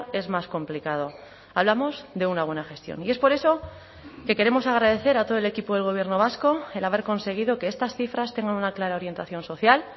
es más complicado hablamos de una buena gestión y es por eso que queremos agradecer a todo el equipo del gobierno vasco el haber conseguido que estas cifras tengan una clara orientación social